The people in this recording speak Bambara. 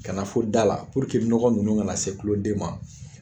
Kana fo da la puruke nɔgɔ ninnu ka na se kuloden ma.